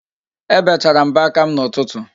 Ebechara m mbọ aka m n'ụtụtụ